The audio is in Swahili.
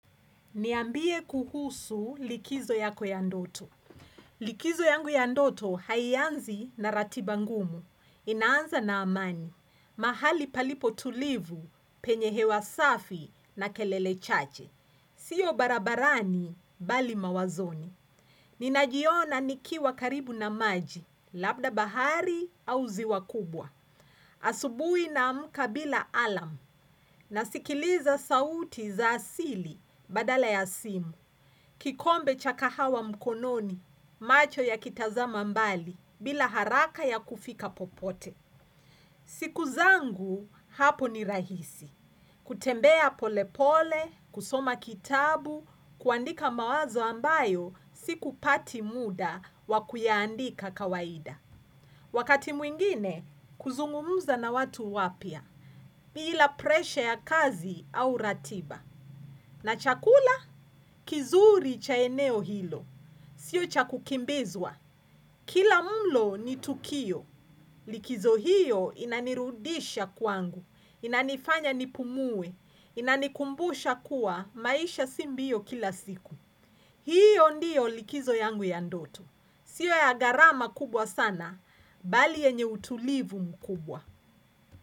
Niambie kuhusu likizo yako ya ndoto. Likizo yangu ya ndoto haianzi na ratiba ngumu. Inaanza na amani. Mahali palipo tulivu penye hewa safi na kelele chache. Sio barabarani bali mawazoni. Ninajiona nikiwa karibu na maji. Labda bahari au ziwa kubwa. Asubuhi naamka bila alarm. Nasikiliza sauti za asili badala ya simu. Kikombe cha kahawa mkononi, macho ya kitazama mbali, bila haraka ya kufika popote. Siku zangu, hapo ni rahisi. Kutembea polepole, kusoma kitabu, kuandika mawazo ambayo, sikupati muda wakuyaandika kawaida. Wakati mwingine, kuzungumza na watu wapya. Bila presha ya kazi au ratiba. Na chakula, kizuri cha eneo hilo. Sio cha kukimbizwa. Kila mlo ni tukio. Likizo hiyo inanirudisha kwangu. Inanifanya nipumue. Inanikumbusha kuwa maisha si mbio kila siku. Hiyo ndiyo likizo yangu ya ndoto. Sio ya gharama kubwa sana, bali yenye utulivu mkubwa.